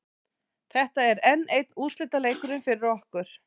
Þetta er enn einn úrslitaleikurinn fyrir okkur.